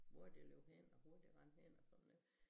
Hvor de løb hen og hvor de rendte hen og sådan noget